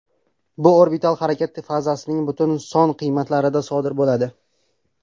Bu orbital harakat fazasining butun son qiymatlarida sodir bo‘ladi.